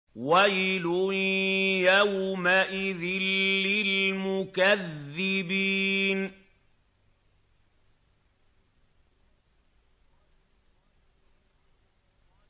وَيْلٌ يَوْمَئِذٍ لِّلْمُكَذِّبِينَ